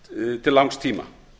til langs tíma